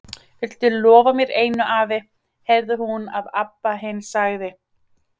Viltu lofa mér einu, afi, heyrði hún að Abba hin sagði.